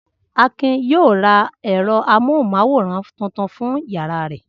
Akin yóò ra ẹ̀rọ amóhùmáwòhán tuntun fún ìyàrá rẹ̀.